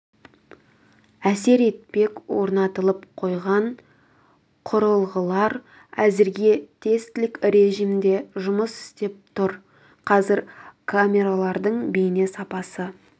әсер етпек орнатылып қойған құрылғылар әзірге тестілік режимде жұмыс істеп тұр қазір камералардың бейне сапасы